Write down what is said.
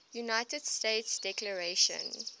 united states declaration